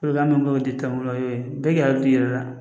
min tɛmɛna o ye bɛɛ k'a t'i yɛrɛ la